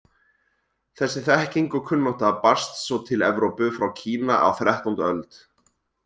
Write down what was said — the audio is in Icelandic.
Þessi þekking og kunnátta barst svo til Evrópu frá Kína á þrettándu öld.